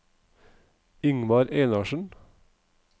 Ingvar Einarsen